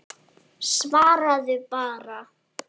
Svaraðu bara.